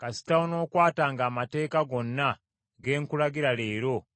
kasita onookwatanga amateeka gonna ge nkulagira leero,